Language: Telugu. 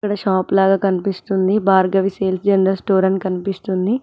షాప్ లాగా కనిపిస్తుంది భార్గవి సేల్స్ జనరల్ స్టోర్ అని కనిపిస్తుంది.